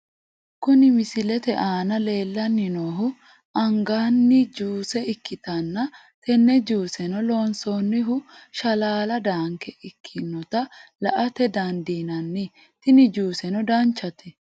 Kuni misilete aana leellanni noohu anganni juuse ikkitanna, tenne juuseno loonsoonnihu shalaala daanke ikkinota la''ate dandiinanni , tini juuseno danchate.